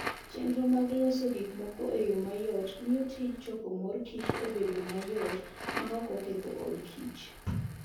Chenro mar loso gik moko e yo mayot miyo tij choko mor kich obed mayot maok oketho od kich.